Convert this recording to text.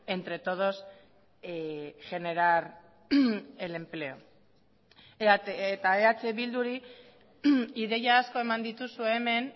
entre todos generar el empleo eta eh bilduri ideia asko eman dituzu hemen